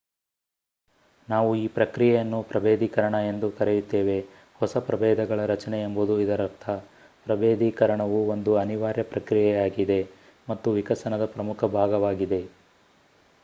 ನಾವು ಈ ಪ್ರಕ್ರಿಯೆಯನ್ನು ಪ್ರಭೇಧೀಕರಣ ಎಂದು ಕರೆಯುತ್ತೇವೆ ಹೊಸ ಪ್ರಭೇಧಗಳ ರಚನೆ ಎಂಬುದು ಇದರರ್ಥ ಪ್ರಭೇಧೀಕರಣವು ಒಂದು ಅನಿವಾರ್ಯ ಪ್ರಕ್ರಿಯೆಯಾಗಿದೆ ಮತ್ತು ವಿಕಸನದ ಪ್ರಮುಖ ಭಾಗವಾಗಿದೆ